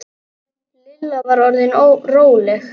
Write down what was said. Lilla var orðin róleg.